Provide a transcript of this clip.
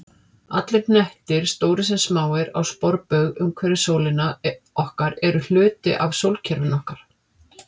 Allir hnettir, stórir sem smáir, á sporbaug umhverfis sólina okkar eru hluti af sólkerfinu okkar.